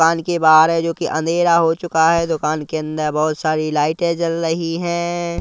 दुकान के बाहर है जोकि अंधेरा हो चुका है दुकान के अंदर बहोत सारी लाइटें जल रही है।